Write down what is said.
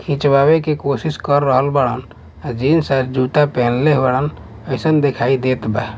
खींचवाए के कोशिश कर रहल बाड़न अ जीन्स और जूता पेनहले बाड़न कइसन देखाई देत बा ।